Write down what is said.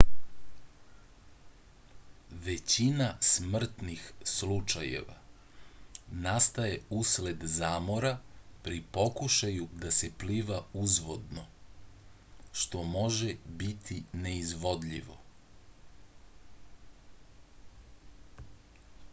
većina smrtnh slučajeva nastaje usled zamora pri pokušaju da se pliva uzvodno što može biti neizvodivo